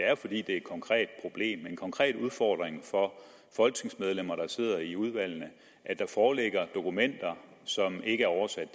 er fordi det er et konkret problem en konkret udfordring for folketingsmedlemmer der sidder i udvalgene at der foreligger dokumenter som ikke er oversat